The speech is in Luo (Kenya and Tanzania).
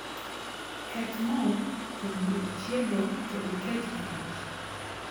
Ket moo e gir chiedo to iket e mach